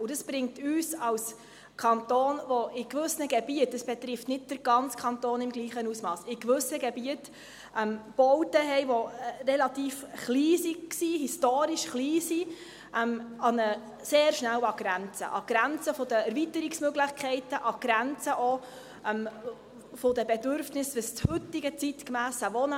Dies bringt uns als Kanton, der in gewissen Gebieten – es betrifft nicht den ganzen Kanton im gleichen Ausmass – Bauten hat, die aus historischen Gründen relativ klein sind, sehr schnell an die Grenze – an die Grenze der Erweiterungsmöglichkeiten, an die Grenze auch der Bedürfnisse des heutigen, zeitgemässen Wohnens.